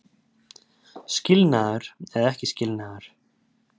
Skilnaður eða ekki skilnaður